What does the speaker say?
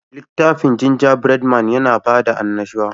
Litafin Gingerbread man, yana da bada annashuwa